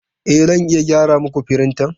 E, Zan iya gyara muku firintan.